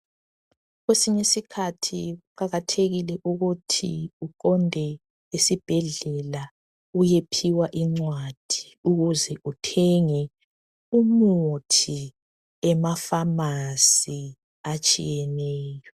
Kwesinyisikhathi kuqakathekile ukuthi uqonde esibhedlela uyephiwa incwadi ukuze uthenge umuthi emafamasi atshiyeneyo.